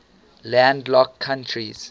landlocked countries